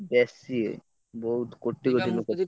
ବେଶୀ ବହୁତ କୋଟି କୋଟି ଲୋକ।